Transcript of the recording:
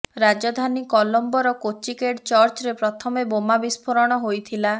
ରାଜଧାନୀ କଲୋମ୍ବର କୋଚ୍ଚିକେଡ୍ ଚର୍ଚ୍ଚରେ ପ୍ରଥମ ବୋମା ବିସ୍ଫୋରଣ ହୋଇଥିଲା